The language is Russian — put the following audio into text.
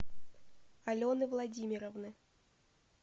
алены владимировны